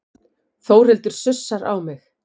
Þórhildur sussar á mig.